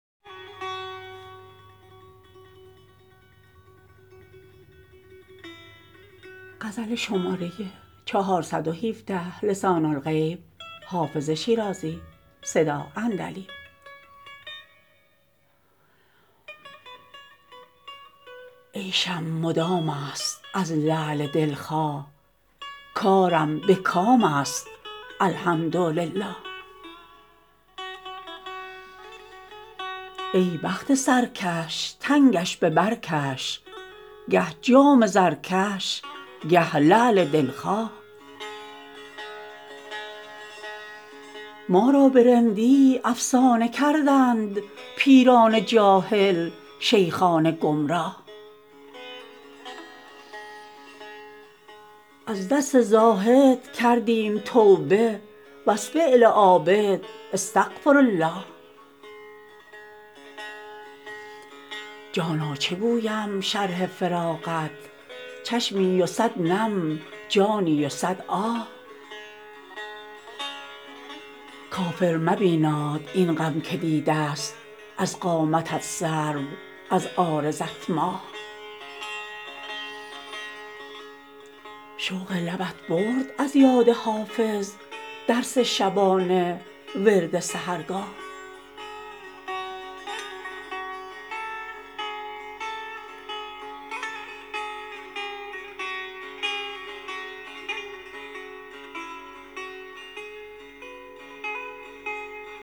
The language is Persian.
عیشم مدام است از لعل دل خواه کارم به کام است الحمدلله ای بخت سرکش تنگش به بر کش گه جام زرکش گه لعل دل خواه ما را به رندی افسانه کردند پیران جاهل شیخان گمراه از دست زاهد کردیم توبه و از فعل عابد استغفرالله جانا چه گویم شرح فراقت چشمی و صد نم جانی و صد آه کافر مبیناد این غم که دیده ست از قامتت سرو از عارضت ماه شوق لبت برد از یاد حافظ درس شبانه ورد سحرگاه